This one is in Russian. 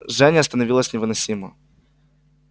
жжение становилось невыносимо